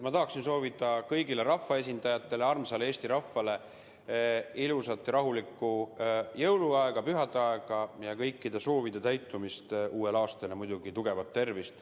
Ma tahan soovida kõigile rahvaesindajatele ja kogu armsale Eesti rahvale ilusat ja rahulikku jõuluaega, pühadeaega, ja kõikide soovide täitumist uuel aastal ja muidugi tugevat tervist.